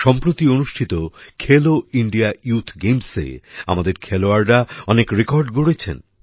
সম্প্রতি অনুষ্ঠিত Khelo India youth গেমসে আমাদের খেলোয়াড়রা অনেক রেকর্ড গড়েছেন